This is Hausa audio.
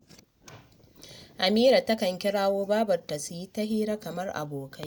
Amira takan kirawo babanta su yi ta hira kamar abokai